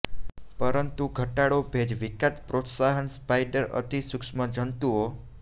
પરંતુ ઘટાડો ભેજ વિકાસ પ્રોત્સાહન સ્પાઈડર અતિ સૂક્ષ્મ જંતુઓ